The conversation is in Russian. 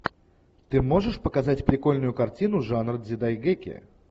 ты можешь показать прикольную картину жанр дзидайгэки